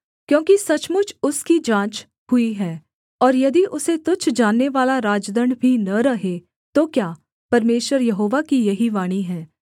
क्योंकि सचमुच उसकी जाँच हुई है और यदि उसे तुच्छ जाननेवाला राजदण्ड भी न रहे तो क्या परमेश्वर यहोवा की यही वाणी है